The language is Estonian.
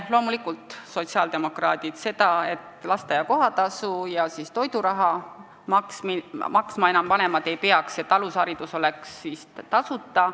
Loomulikult sotsiaaldemokraadid toetavad seda, et lasteaia kohatasu ja toiduraha vanemad maksma ei peaks, et alusharidus oleks tasuta.